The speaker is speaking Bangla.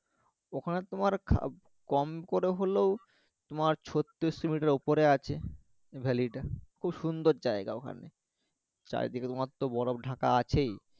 ওখানে তোমার কম করে হলেও তোমার ছত্রিশ মিটার উপরে আছে এই ভ্যালি টা খুব সুন্দর জায়গা ওখানে চারদিকে তোমার তো বরফ ঢাকা আছেই